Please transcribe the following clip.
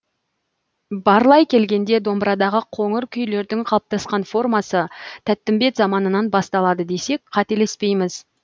барлай келгенде домбырадағы қоңыр күйлердің қалыптасқан формасы тәттімбет заманынан басталады десек қателеспейміз